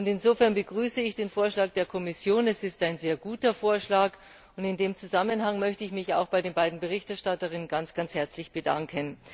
Insofern begrüße ich den Vorschlag der Kommission, es ist ein sehr guter Vorschlag, und in diesem Zusammenhang möchte ich mich auch bei den beiden Berichterstatterinnen ganz herzlich bedanken.